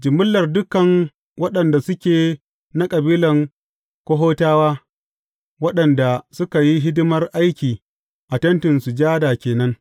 Jimillar dukan waɗanda suke na kabilan Kohatawa, waɗanda suka yi hidimar aiki a Tentin Sujada ke nan.